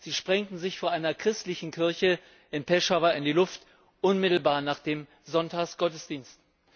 Sie sprengten sich vor einer christlichen Kirche in Peschawar in die Luft, unmittelbar nach dem Sonntagsgottesdienst.